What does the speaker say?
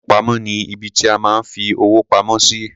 Ilé-ìfowópamọ́ ni ibi tí a máa ń fi owó pamọ́ sí.